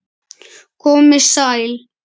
Komiði sæl!